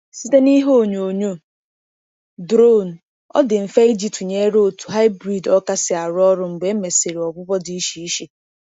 Site na ihe onyoonyo drone, ọ dị mfe iji tụnyere otu hybrid ọka si arụ ọrụ mgbe e mesịrị ọgwụgwọ dị iche iche.